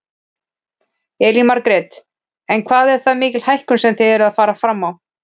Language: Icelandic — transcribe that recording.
Elín Margrét: En hvað er það mikil hækkun sem þið eruð að fara fram á?